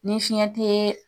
Ni fiɲɛ te